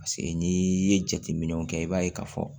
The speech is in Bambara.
Paseke n'i ye jateminɛw kɛ i b'a ye k'a fɔ